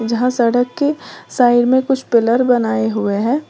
जहाँ सड़क के साइड में कुछ पिलर बनाए हुए हैं।